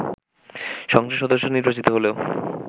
সংসদ সদস্য নির্বাচিত হলেও